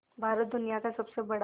भारत दुनिया का सबसे बड़ा